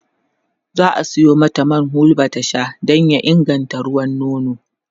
za'a Sayo mata man hulba ta Sha Dan ya inganta ruwan nono